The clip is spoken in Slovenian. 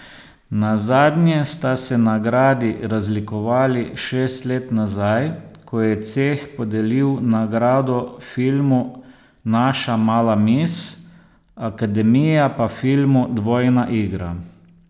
Nazadnje sta se nagradi razlikovali šest let nazaj, ko je ceh podelil nagrado filmu Naša mala mis, akademija pa filmu Dvojna igra.